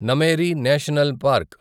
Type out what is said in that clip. Nameri national park